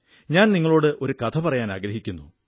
ഞാൻ നിങ്ങളോട് ഒരു കഥ പറയാനാഗ്രഹിക്കുന്നു